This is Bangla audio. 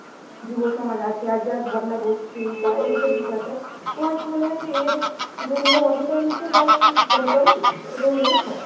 যুবসমাজ আছি আজ যারা ধর্নায় বসছি বা এই যে বিষয়টা তোমার কী মনে হয় যে এর জন্য অনেকাংশে দায়ী মানে politics, এটা তোমার মনে হয়?